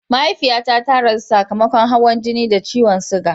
Mahaifiyata ta rasu sakamakon hawan jini da ciwon suga.